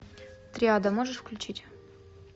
триада можешь включить